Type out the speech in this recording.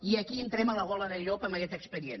i aquí entrem a la gola del llop amb aquest expedient